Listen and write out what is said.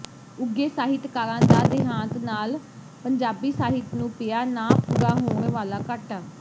ਉੱਘੇ ਸਾਹਿਤਕਾਰਾਂ ਦਾ ਦੇਹਾਂਤ ਨਾਲ ਪੰਜਾਬੀ ਸਾਹਿਤ ਨੂੰ ਪਿਆ ਨਾ ਪੂਰਾ ਹੋਣ ਵਾਲਾ ਘਾਟਾ